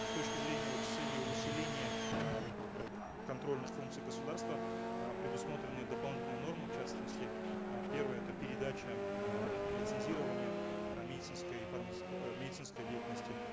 с точки зрения вот с целью усиления э вот э контрольных функций государства э предусмотрены дополнительные нормы в частности э первое это передача э лицензирования э медицинской э медицинской деятельности